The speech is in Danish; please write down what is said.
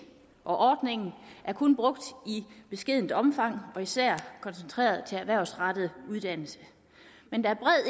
ordningen er kun brugt i beskedent omfang og især koncentreret til erhvervsrettet uddannelse men der